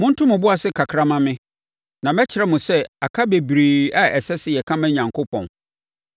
“Monto mo bo ase kakra mma me, na mɛkyerɛ mo sɛ aka bebree a ɛsɛ sɛ yɛka ma Onyankopɔn.